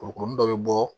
Kurukurunin dɔ bɛ bɔ